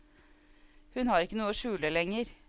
Hun har ikke noe å skjule lenger.